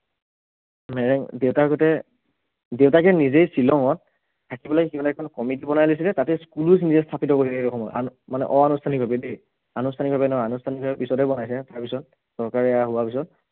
মেৰেং দেউতাকহঁতে দেউতাকে নিজেই শ্ৱিলঙত থাকি লৈ বেলেগ এখন committee বনাই লৈছিলে তাতে school ও খুলিছে থাকি লব লগীয়াকে মানে অ ~আনুষ্ঠানিক ভাৱে দেই আনুষ্ঠানিক ভাৱে নহয় আনুষ্ঠানিক ভাৱে পিছতহে বনাইছে তাৰপাছত চৰকাৰ এইয়া হোৱাৰ পাছত